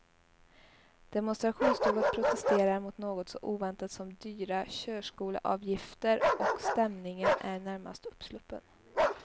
Demonstrationståget protesterar mot något så oväntat som dyra körskoleavgifter och stämningen är närmast uppsluppen.